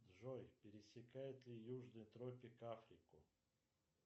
джой пересекает ли южный тропик африку